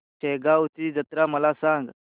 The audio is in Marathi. शेगांवची जत्रा मला सांग